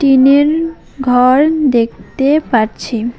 টিনের ঘর দেখতে পাচ্ছি।